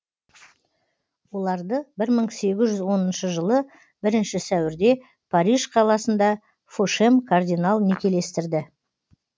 оларды бір мың сегіз жүз оныншы жылы бірінші сәуірде париж қаласында фошем кардинал некелестірді